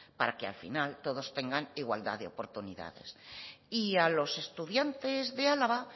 para que al final todos tengan igualdad de oportunidades y a los estudiantes de álava